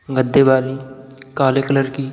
गद्दे वाली काले कलर की --